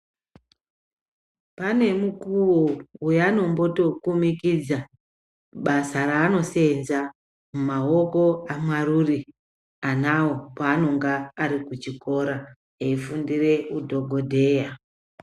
Pane mukuwo weano tombokomekedza basa raanoseenza mumaoko amarure anawo panonga ari kuchikora eifundira udhokodheya.